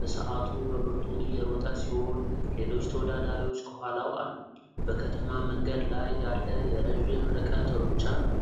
በሰዓቱ በብርቱ እየሮጠ ሲሆን ሌሎች ተወዳዳሪዎች ከኋላው አሉ። በከተማ መንገድ ላይ ያለ የረዥም ርቀት ሩጫ ነው።